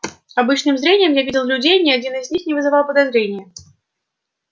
обычным зрением я видел людей ни один из них не вызывал подозрения